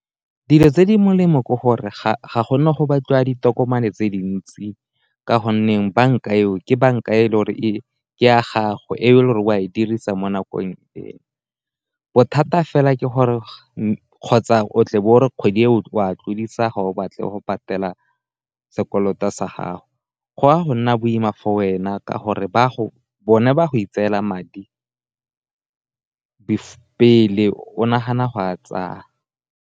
Dilo tse di molemo ke gore ga gona go batliwa ditokomane tse dintsi ka go nneng banka eo ke banka ke ya gago o a e dirisa mo nakong e, bothata fela ke gore kgotsa o tle be o re kgwedi e o a tlodisa kgwedi e ga o batle go patela sekoloto sa gago, go ya go nna boima for wena ka gore bone ba go itseela madi pele o nagana go a tsaya.